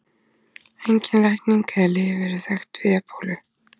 Engin lækning eða lyf eru þekkt við ebólu.